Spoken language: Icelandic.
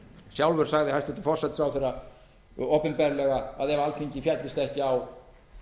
sjálfur sagði hæstvirtur forsætisráðherra opinberlega að ef alþingi féllist ekki á